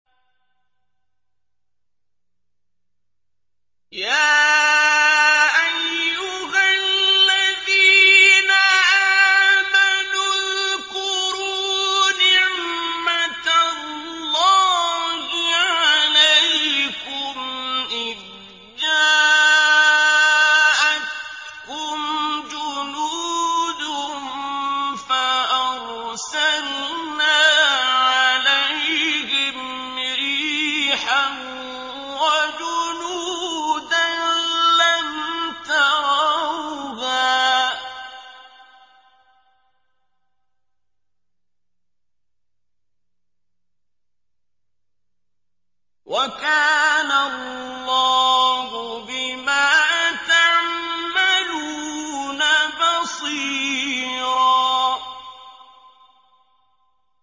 يَا أَيُّهَا الَّذِينَ آمَنُوا اذْكُرُوا نِعْمَةَ اللَّهِ عَلَيْكُمْ إِذْ جَاءَتْكُمْ جُنُودٌ فَأَرْسَلْنَا عَلَيْهِمْ رِيحًا وَجُنُودًا لَّمْ تَرَوْهَا ۚ وَكَانَ اللَّهُ بِمَا تَعْمَلُونَ بَصِيرًا